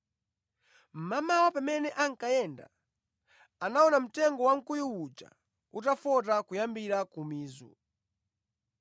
Mmamawa, pamene ankayenda, anaona mtengo wamkuyu uja utafota kuyambira ku mizu.